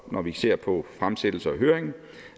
når vi ser på fremsættelse og høring